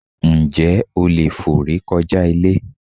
Ǹjẹ́ o leè fò re kojá Ilé?